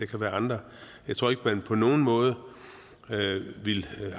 kan være andre jeg tror ikke at man på nogen måde ville